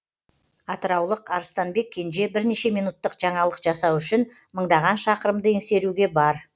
атыраулық арыстанбек кенже бірнеше минуттық жаңалық жасау үшін мыңдаған шақырымды еңсеруге бар